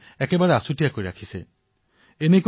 ভাইৰাছৰ লক্ষণ নেদেখুৱালেও নিজকে কোৱাৰেণ্টাইন কৰিছে